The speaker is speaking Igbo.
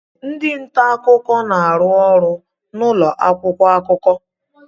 Ndị nta akụkọ na-arụ ọrụ n'ụlọ akwụkwọ akụkọ.